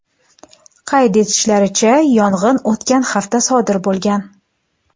Qayd etishlaricha, yong‘in o‘tgan hafta sodir bo‘lgan.